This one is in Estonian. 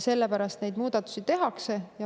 Sellepärast neid muudatusi ka tehakse.